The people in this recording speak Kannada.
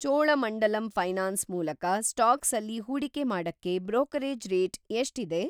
ಚೋಳಮಂಡಲಂ ಫೈನಾನ್ಸ್ ಮೂಲಕ ಸ್ಟಾಕ್ಸಲ್ಲಿ ಹೂಡಿಕೆ ಮಾಡಕ್ಕೆ ಬ್ರೋಕರೇಜ್‌ ರೇಟ್ ಎಷ್ಟಿದೆ?